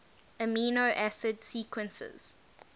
amino acid sequences